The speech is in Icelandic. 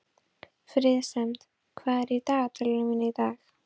Friðsemd, hvað er í dagatalinu mínu í dag?